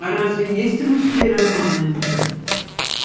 а разве есть русские романы